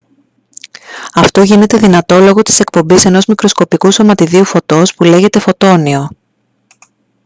αυτό γίνεται δυνατό λόγω της εκπομής ενός μικροσκοπικού σωματιδίου φωτός που λέγεται «φωτόνιο»